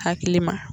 Hakili ma